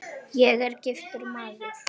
Ég er giftur maður.